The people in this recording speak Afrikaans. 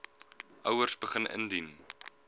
ouers begin indien